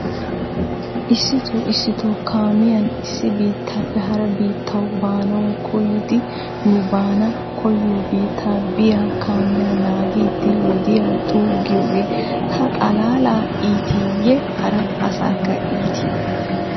Issito issito kaamiyan issi bittaappe hara bittaw baanaw koyidi nu baana koyyo biitta biya kaamiya nanggiiddi wodiyaa xuugiyooge tana xalaala iiti ye hara asaakka iiti?